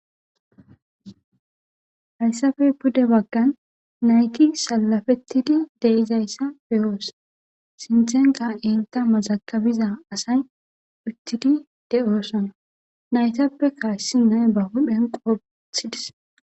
hayssapey pude baggan nayti salafettidi deizayssa beyoos sinthenka enta mazakabiza asay uttidi de7oosana naytappeka issi na7ayi bahuphen qobe wothidis.